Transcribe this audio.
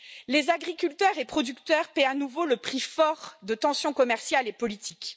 Les agriculteurs et producteurs paient à nouveau le prix fort de tensions commerciales et politiques.